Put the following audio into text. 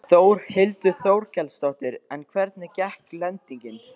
Þórhildur Þorkelsdóttir: En hvernig gekk lendingin?